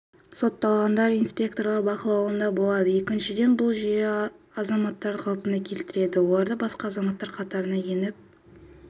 сотталғандар инспекторлар бақылауында болады екіншіден бұл жүйе азаматтарды қалпына келтіреді олардың басқа азаматтар қатарына еніп